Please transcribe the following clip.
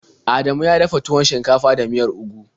Adamu ya dafa tuwon shinkafa da miyar ugu.